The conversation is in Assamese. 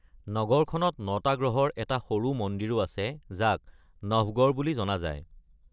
নগৰখনত ন’টা গ্ৰহৰ এটা সৰু মন্দিৰো আছে, যাক নভগড় বুলি জনা যায়।